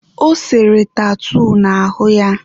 Ọ sere tatuu n'ahụ ya..